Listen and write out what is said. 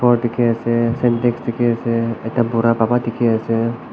dekhe ase syntex dekhe ase ekta bura baba dekhe ase.